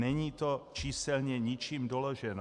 Není to číselně ničím doloženo.